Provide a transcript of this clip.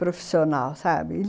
profissional, sabe?